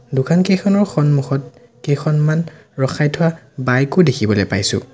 দোকানকেইখনৰ সন্মুখত কেইখনমান ৰখাই থোৱা বাইকো দেখিবলৈ পাইছোঁ।